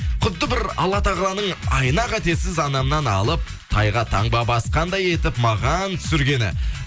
құтты бір алла тағаланың айна қатесіз анамнан алып тайға таңба басқандай етіп маған түсіргені